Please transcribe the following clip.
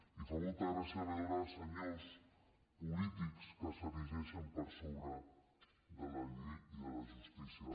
i fa molta gràcia veure senyors polítics que s’erigeixen per sobre de la llei i de la justícia